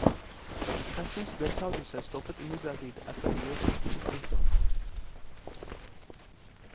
Pressens deltagelse stoppet imidlertid etter vielsen. punktum